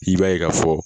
I b'a ye ka fɔ